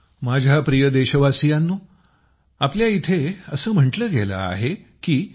माझ्या प्रिय देशवासियांनो आमच्या इथं असं म्हटलं गेलं आहे की